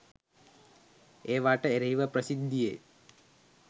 ඒවාට එරෙහිව ප්‍රසිද්ධියේ